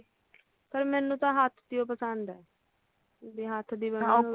ਪਰ ਮੈਨੂੰ ਤਾਂ ਹੱਥ ਦੀਓ ਹੀ ਪਸੰਦ ਆ ਵੀ ਹੱਥ ਦੀ ਬਣੀ